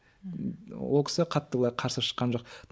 ол кісі қатты былай қарсы шыққан жоқ